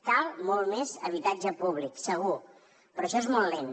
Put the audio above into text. cal molt més habitatge públic segur però això és molt lent